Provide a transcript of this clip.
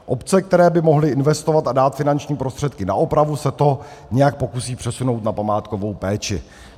Obce, které by mohly investovat a dát finanční prostředky na opravu, se to nějak pokusí přesunout na památkovou péči.